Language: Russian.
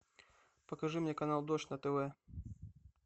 покажи мне канал дождь на тв